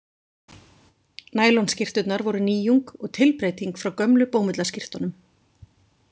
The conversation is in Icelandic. Nælonskyrturnar voru nýjung og tilbreyting frá gömlu bómullarskyrtunum.